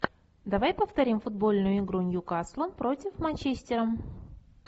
давай повторим футбольную игру ньюкасла против манчестера